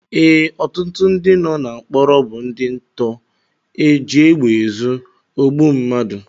Ee, ọtụtụ ndị nọ na mkpọrọ bụ ndị nto, ojiegbeezu, ogbu mmadu